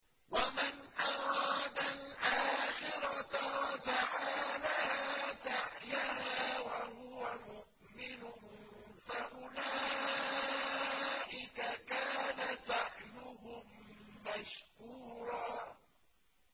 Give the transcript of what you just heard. وَمَنْ أَرَادَ الْآخِرَةَ وَسَعَىٰ لَهَا سَعْيَهَا وَهُوَ مُؤْمِنٌ فَأُولَٰئِكَ كَانَ سَعْيُهُم مَّشْكُورًا